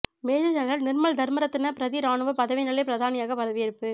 major general Nirmal Dharmaratne பிரதி இராணுவ பதவி நிலை பிரதானியாக பதவியேற்பு